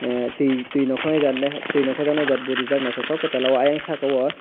twi twi roknai jaat re bo reejak aw eing saaka o.